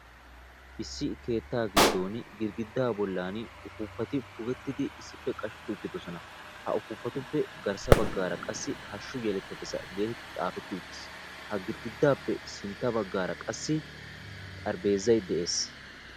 Issi keetta giddon girggida bollan uppupati pugettidi issippe qashsheti uttidoosoan; ha upuppatuppe garssa baggara hashshu yeletadassa getetiddi xaafeti uttiis; ha girggidaappe garssara baggara xarapheezzay de'ees.